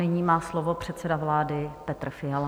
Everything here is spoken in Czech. Nyní má slovo předseda vlády Petr Fiala.